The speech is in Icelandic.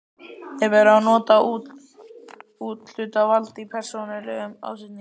Er verið að nota úthlutað vald í persónulegum ásetningi?